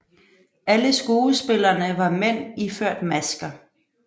Alle skuespillerne var mænd iført masker